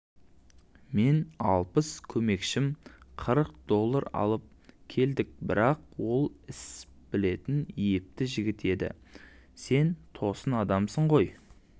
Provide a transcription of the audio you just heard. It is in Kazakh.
мен алпыс көмекшім қырық доллар алып келдік бірақ ол іс білетін епті жігіт еді сен тосын адамсың ғой